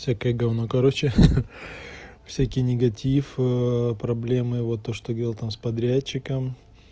всякое гавно короче ха-ха всякий негатив проблемы вот то что говорил там с подрядчиком